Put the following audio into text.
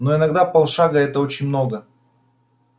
но иногда полшага это очень много